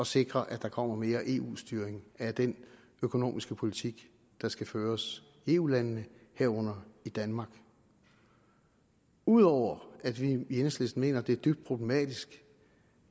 sikre at der kommer mere eu styring af den økonomiske politik der skal føres i eu landene herunder i danmark ud over at vi i enhedslisten mener at det er dybt problematisk